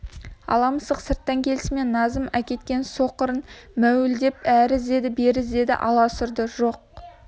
ала мысық сырттан келісімен назым әкеткен соқырын мәуілдеп әрі іздеді бері іздеді аласұрды жоқ